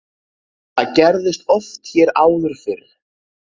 Það gerðist oft hér áður fyrr.